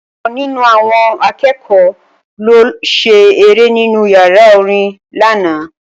Ọ̀kan nínú àwọn akẹ́kọ̀ọ́ ló lọ ṣe eré nínú yàrá orin lánàá